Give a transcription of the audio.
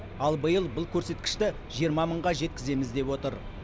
ал биыл бұл көрсеткішті жиырма мыңға жеткіземіз деп отыр